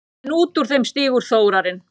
En út úr þeim stígur Þórarinn.